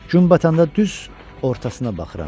Gün batanda düz ortasına baxıram.